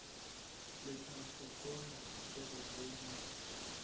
letlankgopola ke re le mohla